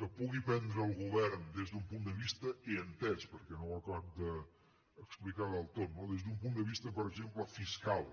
que pugui prendre el govern des d’un punt de vista he entès perquè no ho ha acabat d’explicar del tot no per exemple fiscal